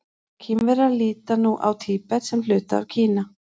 Kínverjar líta nú á Tíbet sem hluta af Kína.